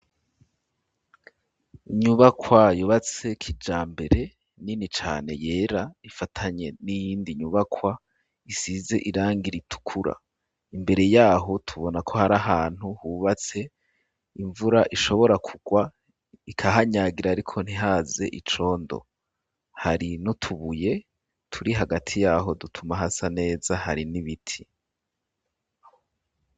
Inyubakwa yubatse kijambere nini cane yera ifatanye n'iyindi nyubakwa isize irangi ritukura, imbere yaho tubona ko hari ahantu hubatse imvura ishobora kugwa ikahanyagira ariko ntihaze icondo hari nutubuye turi hagati yaho dutuma hasa neza hari n'ibiti.